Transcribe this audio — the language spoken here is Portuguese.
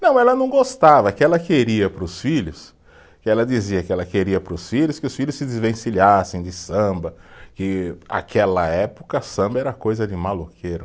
Não, ela não gostava, que ela queria para os filhos, que ela dizia que ela queria para os filhos que os filhos se desvencilhassem de samba, que aquela época samba era coisa de maloqueiro.